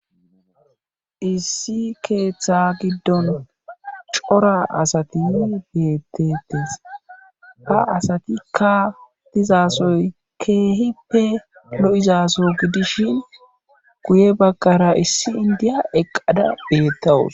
Issi keeththa giddon cora asati beettetes ba asatikka dizasoy keehippe lo7izaso gidishin guye baggara issi indiya eqqada beettawus